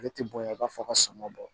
Ale tɛ bonya i b'a fɔ ka sama bɔ